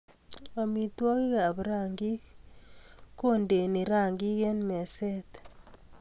Amitwogikap rangik kondeni rangik eng meset